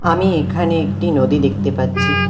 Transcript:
আমি এখানে একটি নদী দেখতে পাচ্ছি।